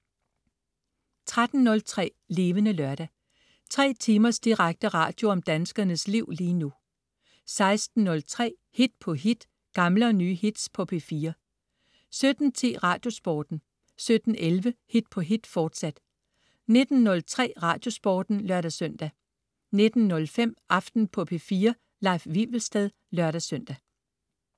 13.03 Levende Lørdag. 3 timers direkte radio om danskernes liv lige nu 16.03 Hit på hit. Gamle og nye hits på P4 17.10 Radiosporten 17.11 Hit på hit, fortsat 19.03 Radiosporten (lør-søn) 19.05 Aften på P4. Leif Wivelsted (lør-søn)